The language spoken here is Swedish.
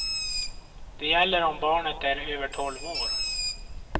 Det gäller om barnet är över tolv år.